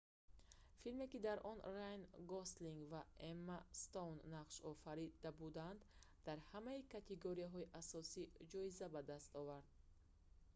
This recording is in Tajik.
филме ки дар он райан гослинг ва эмма стоун нақш офарида буданд дар ҳамаи категорияҳои асосӣ ҷоиза ба даст овард